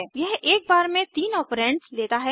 यह एक बार में तीन ऑपरेन्ड्स लेता है